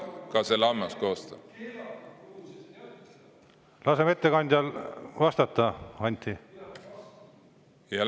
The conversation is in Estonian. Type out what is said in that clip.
Laseme ettekandjal vastata, Anti!